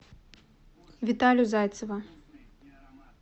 виталю зайцева